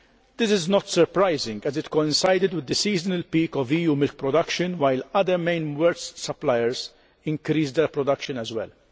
This is not surprising as it coincided with the seasonal peak of EU milk production while other main world suppliers increased their production as well.